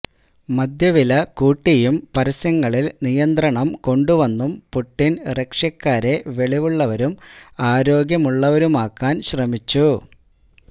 മദ്യവില കൂട്ടിയും പരസ്യങ്ങളിൽ നിയന്ത്രണം കൊണ്ടുവന്നും പുടിൻ റഷ്യക്കാരെ വെളിവുള്ളവരും ആരോഗ്യമുള്ളവരുമാക്കാൻ ശ്രമിച്ചു